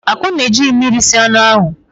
Akunna ejighị mmiri sie anụ ahụ.